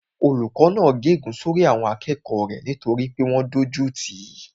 Olùkó náà gé ègún sórí àwọn akẹ́kọ̀ọ́ rẹ̀ nítorí pé wọ́n dójú tìí